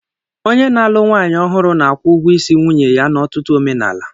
Onye na-alụ nwaanyị ọhụrụ na-akwụ ụgwọ isi nwunye ya n'ọtụtụ omenala.